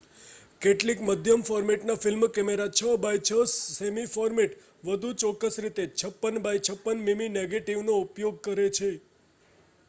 કેટલીક મધ્યમ-ફોર્મેટના film camera 6 by 6 સેમી ફોર્મેટ વધુ ચોક્કસ રીતે 56 બાય 56 મીમી નેગેટિવનો ઉપયોગ કરે છે